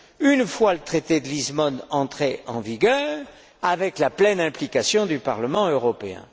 une fois le traité de Lisbonne entré en vigueur, avec la pleine implication du Parlement européen.